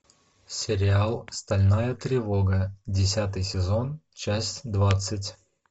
сериал стальная тревога десятый сезон часть двадцать